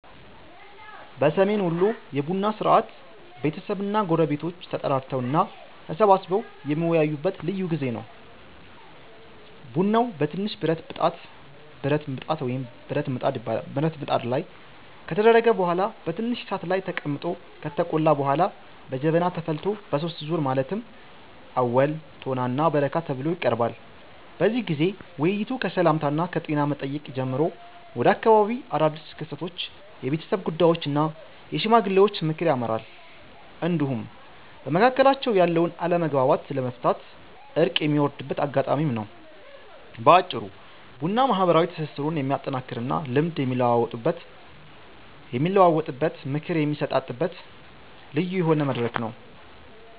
በሰሜን ወሎ የቡና ሥርዓት ቤተሰብና ጎረቤቶች ተጠራርተው እና ተሰባስበው የሚወያዩበት ልዩ ጊዜ ነው። ቡናው በትንሽ ብረት ብጣት ላይ ከተደረገ በኋላ በትንሽ እሳት ላይ ተቀምጦ ከተቆላ በኋላ በጀበና ተፈልቶ በሦስት ዙር ማለትም አወል፣ ቶና እና በረካ ተብሎ ይቀርባል። በዚህ ጊዜ ውይይቱ ከሰላምታና ከጤና መጠየቅ ጀምሮ ወደ አካባቢው አዳድስ ክስተቶች፣ የቤተሰብ ጉዳዮች እና የሽማግሌዎች ምክር ያመራል፤ እንዲሁም በመካከላቸው ያለውን አለመግባባት ለመፍታት እርቅ የሚወርድበት አጋጣሚም ነው። በአጭሩ ቡና ማህበራዊ ትስስሩን የሚያጠናክርና ልምድ የሚለዋወጥበት፣ ምክር የሚሰጣጥበት ልዩ የሆነ መድረክ ነው።